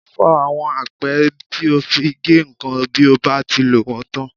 Fọ àwọn apẹ́ tí o fi ń gé nǹkan bí o bá ti lò wọ́n tán.